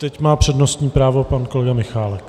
Teď má přednostní právo pan kolega Michálek.